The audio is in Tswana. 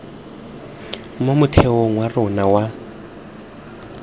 mo motheong wa rona wa